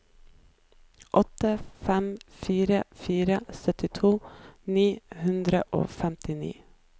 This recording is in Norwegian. åtte fem fire fire syttito ni hundre og femtini